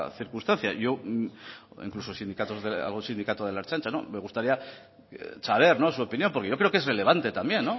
circunstancia incluso algún sindicato de la ertzaintza me gustaría saber su opinión porque yo creo que es relevante también